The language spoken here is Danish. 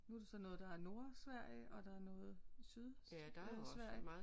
Nu er det så noget der er Nordsverige og der er noget syd øh Sverige